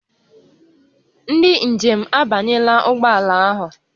Ndị njem a abanyela ụgbọ ala ahụ